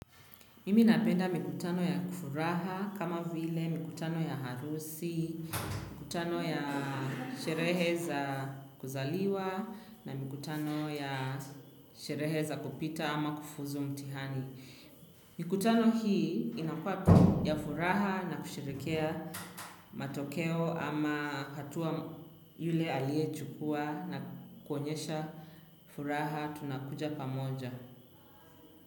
Mimi napenda mikutano ya kifuraha kama vile, mikutano ya harusi, kutano ya sherehe za kuzaliwa na mikutano ya sherehe za kupita ama kufuzu mtihani. Mikutano hii, inakua ya furaha na kusherekea matokeo ama hatua yule alie chukua na kuonyesha furaha tunakuja pamoja.